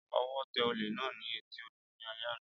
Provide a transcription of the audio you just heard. Ọwọ́ tẹ olè náà ní etí odò ní alẹ́ àná